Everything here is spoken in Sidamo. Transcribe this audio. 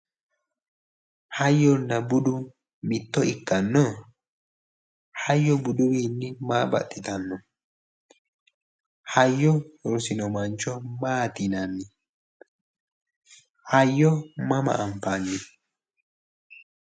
Hayyonna budu mitto ikkanno? Hayyo buduwiinni maa baxxitanno? Hayyo rosino mancho maati yinanni? Hayyo mama anfanni?